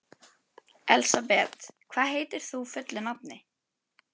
Svo bara. svo bara fann ég að ég var kolómögulegur.